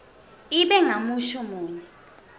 ibe ngumusho munye